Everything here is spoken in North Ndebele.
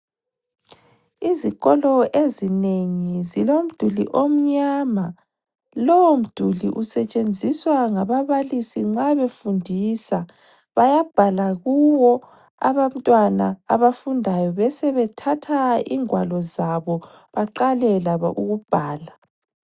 Izikolo ezinengi zilomduli omnyama, lowo mduli usetshenziswa ngababalisi nxa befundisa. Bayabhala kuwo abantwana abafundayo besebethatha ingwalo zabo, baqale labo ukubhala.